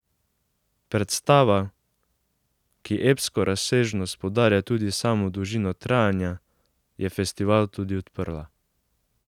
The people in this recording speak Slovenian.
Predstava, ki epsko razsežnost poudarja tudi s samo dolžino trajanja, je festival tudi odprla.